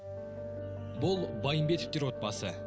бұл байымбетовтер отбасы